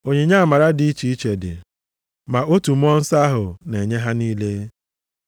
Onyinye amara dị iche iche dị, ma otu Mmụọ Nsọ ahụ na-enye ha niile.